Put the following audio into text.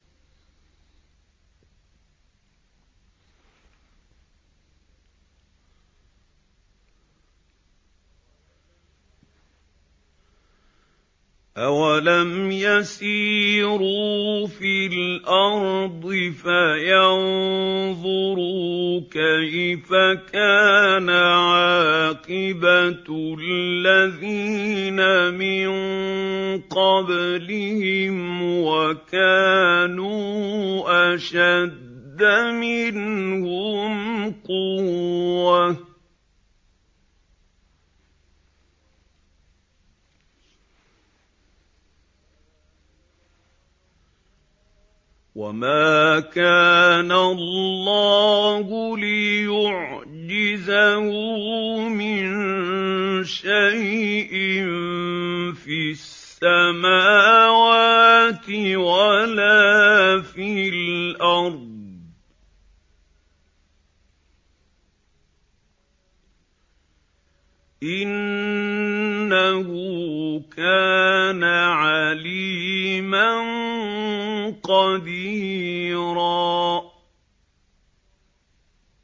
أَوَلَمْ يَسِيرُوا فِي الْأَرْضِ فَيَنظُرُوا كَيْفَ كَانَ عَاقِبَةُ الَّذِينَ مِن قَبْلِهِمْ وَكَانُوا أَشَدَّ مِنْهُمْ قُوَّةً ۚ وَمَا كَانَ اللَّهُ لِيُعْجِزَهُ مِن شَيْءٍ فِي السَّمَاوَاتِ وَلَا فِي الْأَرْضِ ۚ إِنَّهُ كَانَ عَلِيمًا قَدِيرًا